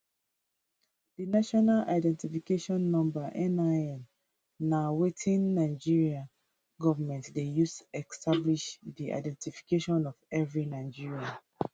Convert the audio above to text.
di national identification number nin na wetin nigeria goment dey use establish di identity of every nigerian